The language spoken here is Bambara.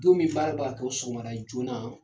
Don min baara bɛka kɛ o sɔgɔmada joona,